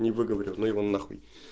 не выговорил ну его на хуй